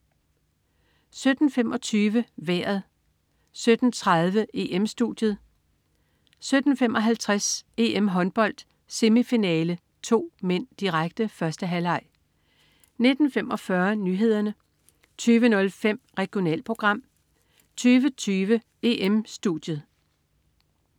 17.25 Vejret 17.30 EM-Studiet 17.55 EM-Håndbold: Semifinale 2 (m), direkte. 1. halvleg 19.45 Nyhederne 20.05 Regionalprogram 20.20 EM-Studiet